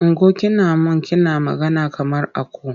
Ungo! Kina man kina magana kamar aku.